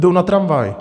Jdou na tramvaj.